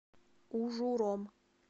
ужуром